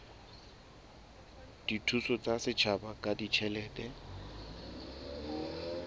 dithuso tsa setjhaba ka ditjhelete